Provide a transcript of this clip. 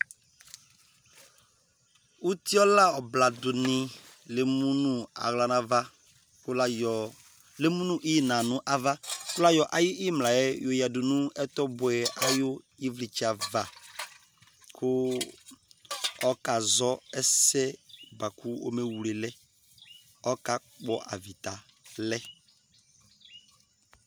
uti ɔla ɔbla du ni le mu no ala n'ava kò la yɔ le elmu no ina n'ava kò la yɔ ayi imla yɛ yo ya du no ɛtɔ buɛ ayi ivlitsɛ ava kò ɔka zɔ ɛsɛ boa kò ome wle lɛ ɔka kpɔ avita lɛ